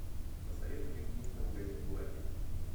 посоветуй мне книжный магазин блэка